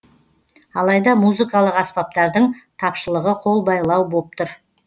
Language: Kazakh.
алайда музыкалық аспаптардың тапшылығы қолбайлау боп тұр